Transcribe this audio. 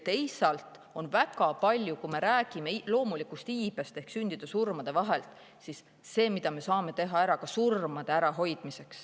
Teisalt, kui rääkida loomulikust iibest ehk sündide-surmade vahest, siis midagi me saame teha ära ka surmade ärahoidmiseks.